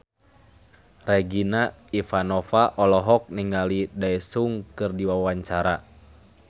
Regina Ivanova olohok ningali Daesung keur diwawancara